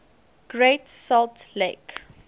great salt lake